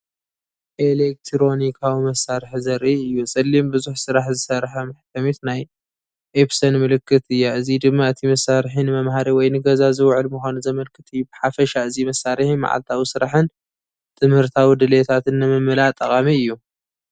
ኤሌክትሮኒካዊ መሳርሒ ዘርኢ እዩ። ጸሊም ብዙሕ ስራሕ ዝሰርሕ መሕተሚት ናይ "ኤፕሰን" ምልክት እያ። እዚ ድማ እቲ መሳርሒ ንመምሃሪ ወይ ንገዛ ዝውዕል ምዃኑ ዘመልክት እዩ። ብሓፈሻ እዚ መሳርሒ መዓልታዊ ስራሕን ትምህርታዊ ድሌታትን ንምምላእ ጠቓሚ እዩ።